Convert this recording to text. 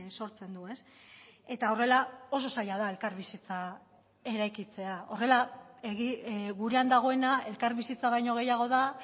sortzen du eta horrela oso zaila da elkarbizitza eraikitzea horrela gurean dagoena elkarbizitza baino gehiago da